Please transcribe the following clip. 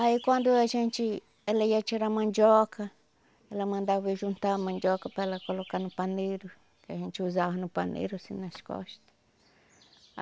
Aí quando a gente, ela ia tirar a mandioca, ela mandava eu juntar a mandioca para ela colocar no paneiro, que a gente usava no paneiro assim nas costas.